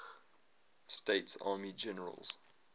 states army generals